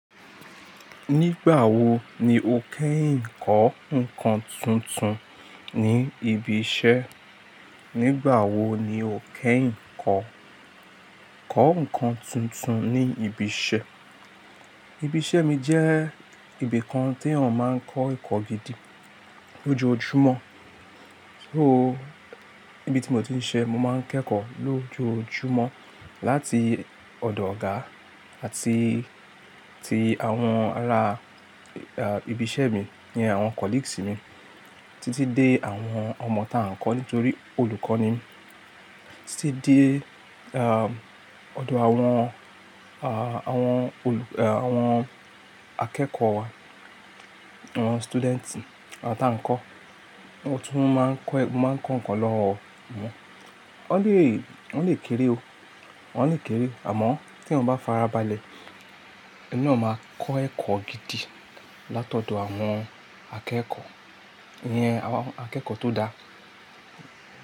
Nígbà wo ni o kẹ́yìn kọ́ ǹkan tuntun ní ibi iṣẹ́? Nígbà wo ni o kẹ́yìn kọ́, kọ́ ǹkan tuntun ní ibi iṣẹ́? Ibi iṣẹ́ mi jẹ́ ibi kan tí ẹ̀yan máa ń kọ́ ẹ̀kọ́ gidi lójoojúmọ́. Wo ibi tí mo ti ń siṣẹ́, mo máa ń kẹ́kọ̀ọ́ lójoojúmọ́ láti ọ̀dọ̀ ọ̀gá àti tí àwọn ará, ah, ibi iṣẹ́ mi, ìyẹn àwọn colleagues mi títí dé àwọn ọmọ tá ń kọ́ nítorí olùkọ́ ni mí, títí dé, ahm, ọ̀dọ̀ àwọn, ah, àwọn olù, ah, àwọn akẹ́kọ̀ọ́ wa, àwọn students, àwọn tá ń kọ́. Mo tún máa ń kọ́, mo máa ń kọ́ ǹkan lọ́wọ́ wọ́n. Wọ́n lè, wọ́n lè kéré o, wọ́n lè kéré àmọ́ tí eeyan bá farabalẹ̀, eni na máa kọ́ ẹ̀kọ́ gidi látọ̀dọ̀ àwọn akẹ́kọ̀ọ́. Iyẹn àwọn akẹ́kọ̀ọ́ tó dáa.